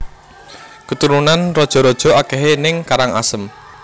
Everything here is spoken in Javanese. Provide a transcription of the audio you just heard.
Keturunan raja raja akehe ning Karangasem